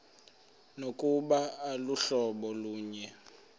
nokuba aluhlobo lunye